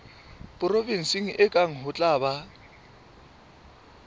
provenseng kang ho tla ba